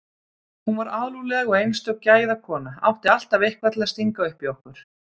Hún var alúðleg og einstök gæðakona, átti alltaf eitthvað til að stinga upp í okkur.